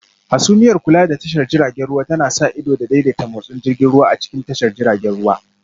Hasumiyar Kula da tashar jiragen ruwa tana sa ido da daidaita motsin jirgin ruwa a cikin tashar jiragen ruwa